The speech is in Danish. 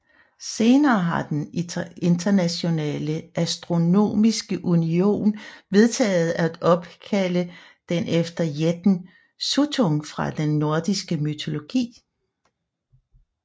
Senere har den Internationale Astronomiske Union vedtaget at opkalde den efter jætten Suttung fra den nordiske mytologi